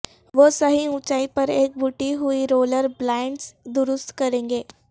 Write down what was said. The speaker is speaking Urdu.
وہ صحیح اونچائی پر ایک بٹی ہوئی رولر بلائنڈز درست کریں گے